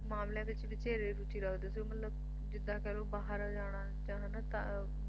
ਮਾਮਲਿਆਂ ਵਿੱਚ ਵਧੇਰੇ ਰੁਚੀ ਰੱਖਦੇ ਸੀ ਮਤਲਬ ਜਿਦਾਂ ਕਹਿਲੋ ਬਾਹਰ ਜਾਣਾ ਜਾਂ ਹਨਾਂ